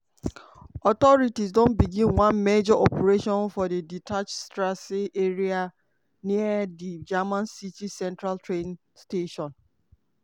authorities don begin one major operation for di dachauer strasse area near di german city central train station.